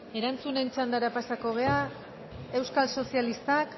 erantzun txanda pasako gara euskal sozialistak